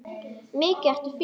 Mikið ertu fín!